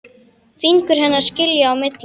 Fingur hennar skilja á milli.